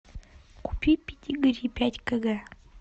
купи педигри пять кг